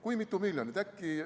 Kui mitu miljonit?